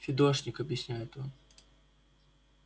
фидошник объясняет он